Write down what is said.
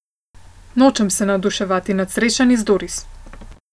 Nočem se navduševati nad srečanji z Doris.